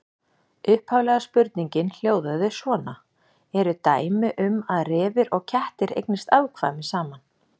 Upphaflega spurningin hljóðaði svona: Eru dæmi um að refir og kettir eignist afkvæmi saman?